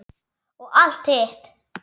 Og allt hitt.